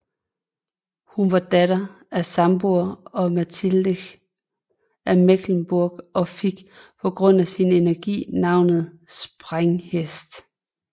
Hun var datter af Sambor og Mechtilde af Mecklenburg og fik på grund af sin energi tilnavnet Sprænghest